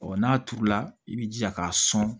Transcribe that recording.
n'a turula i bɛ jija k'a sɔn